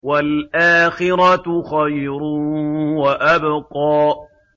وَالْآخِرَةُ خَيْرٌ وَأَبْقَىٰ